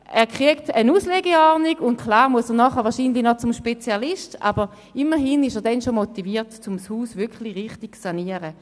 Dort erhält er eine Auslegeordnung und muss natürlich anschliessend noch zum Spezialisten, aber immerhin ist er dann schon motiviert, das Haus wirklich richtig zu sanieren.